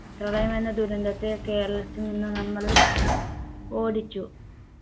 പ്രളയമെന്ന ദുരന്തത്തെ കേരളത്തിൽ നിന്ന് നമ്മള് ഓടിച്ചു